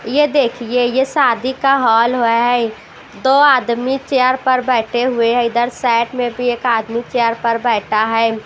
ये देखिए ये शादी का हॉल है दो आदमी चेयर पर बैठे हुए हैं इधर साइड में भी एक आदमी चेयर पर बैठा है।